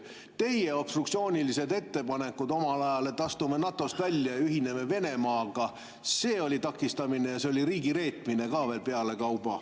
Teie obstruktsioonilised ettepanekud omal ajal, et astume NATO‑st välja, ühineme Venemaaga – see oli takistamine ja see oli riigireetmine ka veel pealekauba.